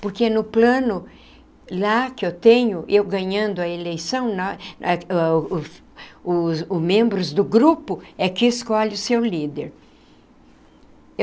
Porque no plano lá que eu tenho, eu ganhando a eleição, os o membros do grupo é que escolhe o seu líder.